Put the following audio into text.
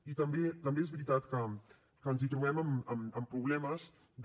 i també és veritat que ens trobem amb problemes de